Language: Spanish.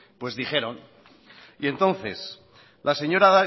dijeron y entonces la señora